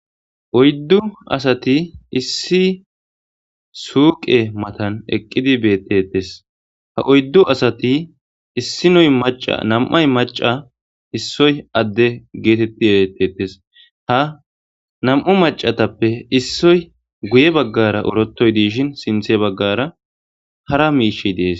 oyddu asati issi suuqe matan eqqidi beettetes ha oyddu asati issinoy maca nam7ay maca issoy adde geetetti erettetes ha nam7u macatappe issoy guye baggara orotoy de'iishin sinthe baggara hara miishi dees